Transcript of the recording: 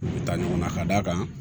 U bɛ taa ɲɔgɔn na ka d'a kan